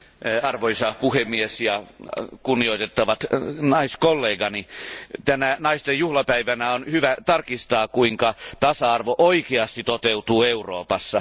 Arvoisa puhemies, kunnioitettavat naiskollegani, tänä naisten juhlapäivänä on hyvä tarkistaa, kuinka tasa arvo oikeasti toteutuu Euroopassa.